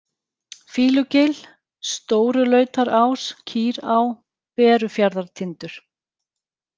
Fýlugil, Stórulautarás, Kýrá, Berufjarðartindur